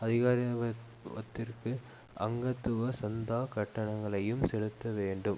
அதிகாரத்வத்திற்கு அங்கத்துவ சந்தா கட்டணங்களையும் செலுத்த வேண்டும்